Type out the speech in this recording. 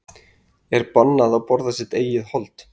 Er bannað að borða sitt eigið hold?